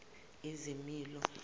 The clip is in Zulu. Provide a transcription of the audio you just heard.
izimilo